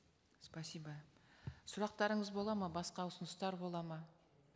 спасибо сұрақтарыңыз болады ма басқа ұсыныстар болады ма